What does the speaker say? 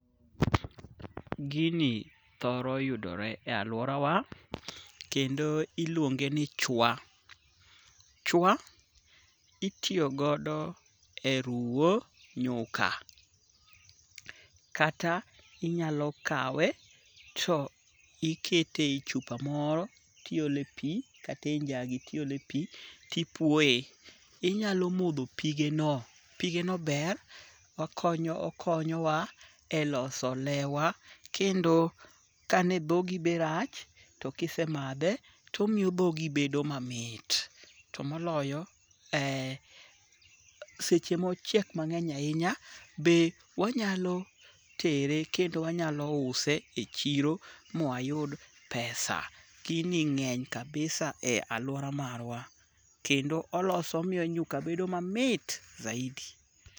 Gini thoro yudore e lauora wa kendo iluonge ni chwa. Chwa itiyo godo e ruwo nyuka. Kata inyalo kawe to ikete e chupa moro ti ole pi kata e njagi ti ole pi ti puoye. Inyalo modho pige no. Pige no ber. Okonyo wa e loso lew wa. Kendo kane dhogi be rach tokise madhe tomiyo dhogi bedo mamit. To moloyo, seche mochiek mang'eny ahinya be wanyalo tere kendo wanyalo use e chiro mwa yud pesa. Gini ng'eny kabisa e aluora marwa. Kendo oloso omiyo nyuka bedo mamit zaidi.